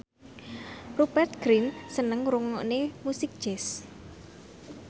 Rupert Grin seneng ngrungokne musik jazz